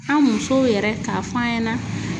An musow yɛrɛ k'a f'an ɲɛna